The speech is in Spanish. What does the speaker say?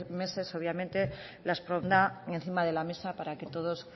meses obviamente las pondrá encima de la mesa para que todos